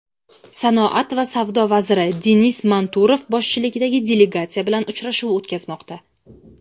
sanoat va savdo vaziri Denis Manturov boshchiligidagi delegatsiya bilan uchrashuv o‘tkazmoqda.